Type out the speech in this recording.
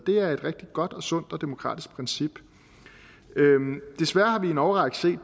er et rigtig godt og sundt og demokratisk princip desværre har vi i en årrække set at